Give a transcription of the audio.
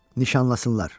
Nişanlasınlar.